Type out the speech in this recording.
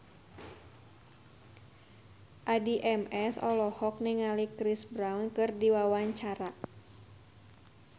Addie MS olohok ningali Chris Brown keur diwawancara